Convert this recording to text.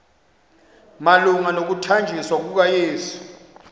malunga nokuthanjiswa kukayesu